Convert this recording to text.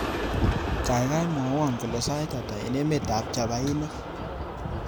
Gaigai mwawon kole sait ata eng emetab chapainik